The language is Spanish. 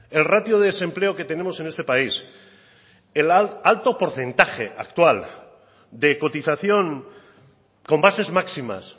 el ratio de desempleo que tenemos en este país el alto porcentaje actual de cotización con bases máximas